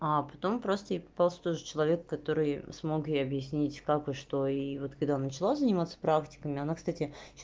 а потом просто ей попался тот же человек который смог ей объяснить как и что и вот когда она начала заниматься практиками она кстати